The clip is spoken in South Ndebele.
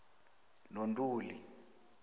nontuli